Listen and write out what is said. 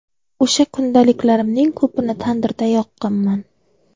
O‘sha kundaliklarimning ko‘pini tandirda yoqqanman.